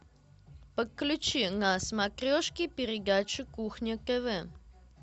подключи на смотрешке передачу кухня тв